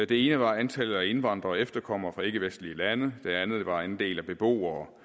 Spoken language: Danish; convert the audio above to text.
det ene var antallet af indvandrere og efterkommere fra ikkevestlige lande det andet var andelen af beboere